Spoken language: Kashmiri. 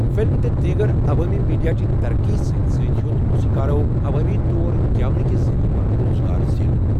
فِلم تہٕ دیٖگر عوٲمی میٖڈیا چہ ترقی سۭتۍ سۭتۍ ہیوٚت موسیقارو عوٲمی طور گیونہٕ کہِ ذٔریعہٕ پنُن روزگار زینن۔